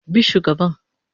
Bi shugaban